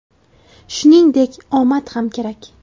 Shuningdek, omad ham kerak.